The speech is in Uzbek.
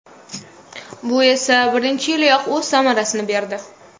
Bu esa birinchi yiliyoq o‘z samarasini berdi.